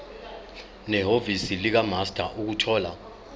nehhovisi likamaster ukuthola